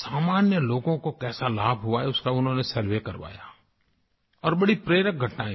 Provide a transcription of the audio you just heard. सामान्य लोगों को कैसा लाभ हुआ है उसका उन्होंने सर्वे करवाया और बड़ी प्रेरक घटनायें मिली